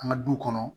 An ka du kɔnɔ